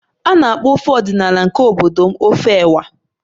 A na-akpọ ofe ọdịnala nke obodo m ofe ewa